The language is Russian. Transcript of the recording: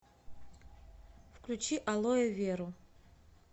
включи алоэверу